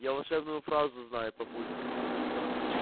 я волшебную фразу знаю папулька